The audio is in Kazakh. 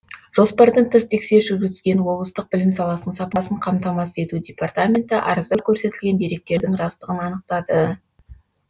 жоспардан тыс тексеріс жүргізген облыстық білім саласының сапасын қамтамасыз ету департаменті арызда көрсетілген деректердің растығын анықтады